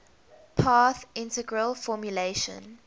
path integral formulation